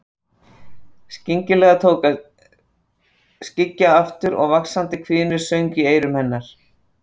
Skyndilega tók að skyggja aftur og vaxandi hvinur söng í eyrum hennar.